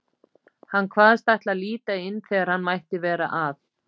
Hann kvaðst ætla að líta inn þegar hann mætti vera að.